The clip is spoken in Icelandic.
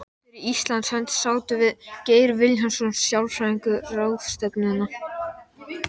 Og þetta varð upphaf að reglubundnum heimsóknum Engilberts í kjallaraíbúðina.